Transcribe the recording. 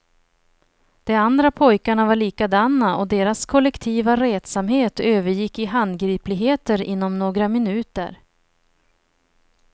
De andra pojkarna var likadana och deras kollektiva retsamhet övergick i handgripligheter inom några minuter.